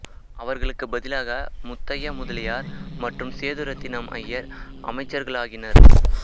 அவர்களுக்கு பதிலாக முத்தையா முதலியார் மற்றும் சேதுரத்தினம் அய்யர் அமைச்சர்களாகினர்